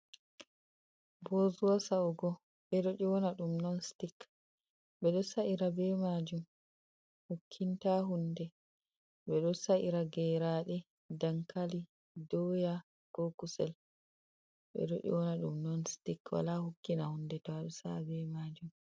"Bozuwa"sa’ugo ɓeɗo nyona ɗum non stik ɓeɗo sa’ira be majum hukkinta hunde ɓeɗo sa’ira geraɗe dankali, doya go kusel ɓeɗo nyona ɗum non stik wala hukkina hunde to aɗo sa’a be majum.